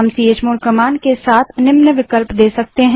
हम chmod command के साथ निम्न विकल्प दे सकते हैं